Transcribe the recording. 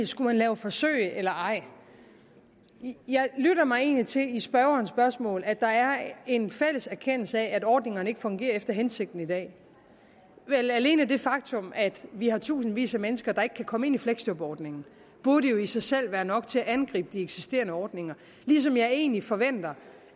skulle lave forsøg eller ej jeg lytter mig egentlig til i spørgerens spørgsmål at der er en fælles erkendelse af at ordningerne ikke fungerer efter hensigten i dag alene det faktum at vi har tusindvis af mennesker der ikke kan komme ind i fleksjobordningen burde jo i sig selv være nok til at angribe de eksisterende ordninger ligesom jeg egentlig forventer